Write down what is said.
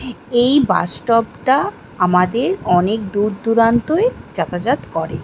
এই bus stop -টা আমাদের অনেক দূর দূরান্তই যাতাযাত করে ।